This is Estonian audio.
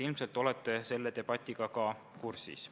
Ilmselt te olete selle debatiga kursis.